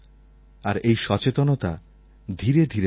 আর এই সচেতনতা ধীরে ধীরে বাড়ছে